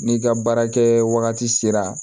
N'i ka baara kɛ wagati sera